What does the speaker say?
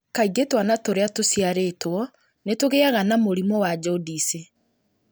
Kaingĩ twana tũrĩa tũciarĩtwo nĩ tũgĩaga na mũrimũ wa jaundice,